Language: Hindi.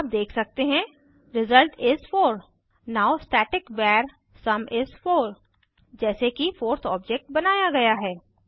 आप देख सकते हैं result is 4 now static var sum is 4 जैसे कि 4थ ऑब्जेक्ट बनाया गया है